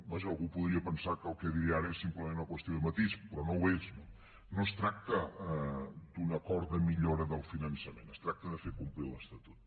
vaja algú podria pensar que el que diré ara és simplement una qüestió de matís però no ho és no no es tracta d’un acord de millora del finançament es tracta de fer complir l’estatut